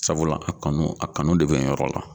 Sabula a kanu a kanu de be n yɔrɔ la